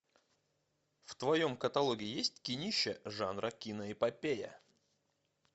в твоем каталоге есть кинище жанра киноэпопея